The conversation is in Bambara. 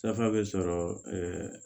Dafa bɛ sɔrɔ ɛɛ